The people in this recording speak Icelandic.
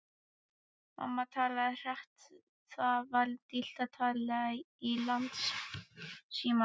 Mamma talaði hratt, það var dýrt að tala í landsímann.